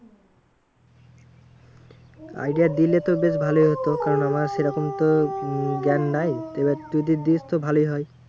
Idea দিলে তো বেশ ভালো হতো। কারণ আমার সেরকম তো উম জ্ঞান নাই। তো এবার তুই যদি দিস তো ভালোই হয়।